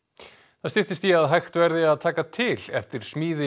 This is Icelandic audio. það styttist í að hægt verði að taka til eftir smíði